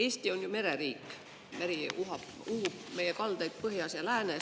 Eesti on ju mereriik, meri uhub meie kaldaid põhjas ja läänes.